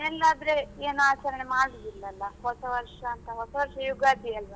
ಮತ್ತೆ ಮನೆಯಲ್ಲಾದ್ರೆ ಏನು ಆಚರಣೆ ಮಾಡುದಿಲ್ಲಲ್ಲ ಹೊಸವರ್ಷ ಅಂತ ಹೊಸವರ್ಷ ಯುಗಾದಿ ಅಲ್ವಾ.